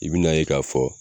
I bi na ye k'a fɔ